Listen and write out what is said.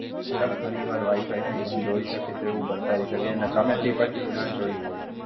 Sir, ઘણીવાર Wi-Fi ભી બંધ હોય શકે તેવું બતાવી શકે અને તમે ભી પછી ના જોયું હોય.